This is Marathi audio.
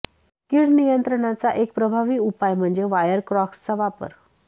कीड नियंत्रणाचा एक प्रभावी उपाय म्हणजे वायर क्रॉक्सचा वापर